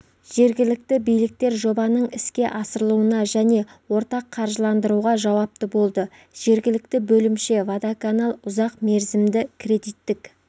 жергілікті биліктер жобаның іске асырылуына және ортақ қаржыландыруға жауапты болды жергілікті бөлімше водоканал ұзақ мерзімді кредиттік